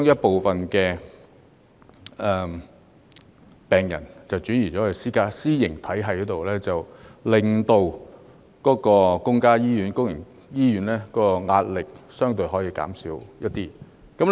部分病人轉到私營醫療體系，可令公營醫院的壓力相對減輕一點。